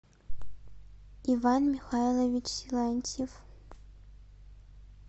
иван михайлович силантьев